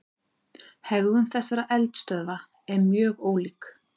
Hegðun þessara eldstöðva er mjög ólík.